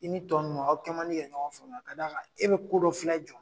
I ni tɔ ninnu aw kɛ mandi ka ɲɔgɔn faamuya ka d'a kan e be ko dɔ filɛ jɔ